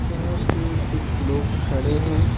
जहाँ पे कुछ लोग खड़े हैं।